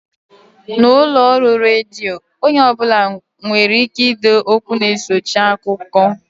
N'ụlọọrụ redio, onye ọ bụla nwereike ide okwu na-esochi akụkọ